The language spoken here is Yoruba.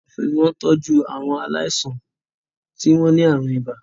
Ọ̀fẹ́ wọ́n tọ́jú àwọn aláìsàn tí wọ́n ní àrùn ibà